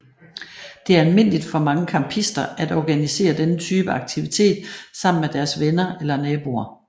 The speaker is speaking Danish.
Det er almindeligt for mange campister at organisere denne type aktivitet sammen med deres venner eller naboer